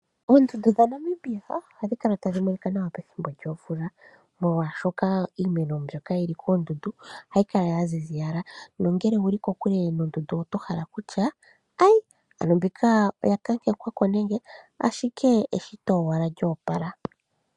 Oondundu dhaNamibia ohadhi kala tadhi monika nawa pethimbo lyomvula molwashoka iimeno mbyoka yili koondundu yaziza nongele owuli kokule noondundu otohala kutya ano mbika oya kakekwa nenge ashike eshito owala lyo opala.